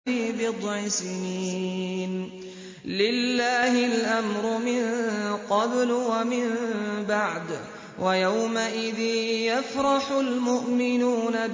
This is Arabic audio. فِي بِضْعِ سِنِينَ ۗ لِلَّهِ الْأَمْرُ مِن قَبْلُ وَمِن بَعْدُ ۚ وَيَوْمَئِذٍ يَفْرَحُ الْمُؤْمِنُونَ